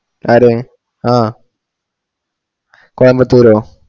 ആരെ ആ കൊയംബത്തൂരോ